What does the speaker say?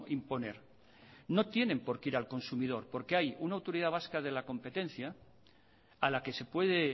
imponer no tienen por qué ir al consumidor porque hay una autoridad vasca de la competencia a la que se puede